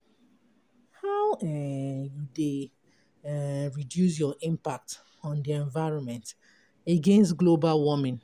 How um you dey um reduce your impact on di environment against global warming?